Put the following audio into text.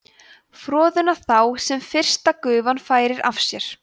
froðuna þá sem fyrsta gufan færir af sér